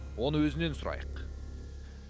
оны өзінен сұрайық